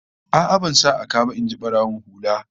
A'a, ban sa a ka ba, in ji barawon hula